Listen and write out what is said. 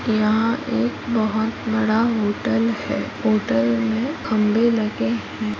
यहाँ एक बहुत बड़ा होटल है होटल में खम्बे लगे है।